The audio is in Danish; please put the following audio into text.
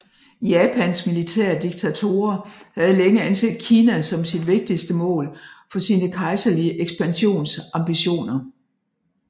Japans militære diktatorer havde længe anset Kina som sit vigtigste mål for sine kejserlige ekspansionsambitioner